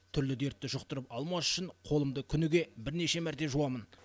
түрлі дертті жұқтырып алмас үшін қолымды күніге бірнеше мәрте жуамын